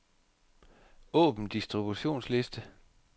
Åbn distributionsliste.